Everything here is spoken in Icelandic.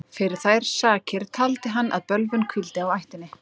fyrir þær sakir taldi hann að bölvun hvíldi á ættinni